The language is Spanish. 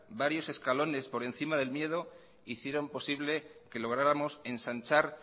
varios escalones por encima del miedo hicieron posible que lográramos ensanchar